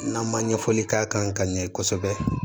N'an ma ɲɛfɔli k'a kan ka ɲɛ kosɛbɛ